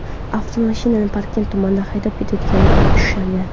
avtomashinani Parkent tumanida haydab ketayotganida ushlangan.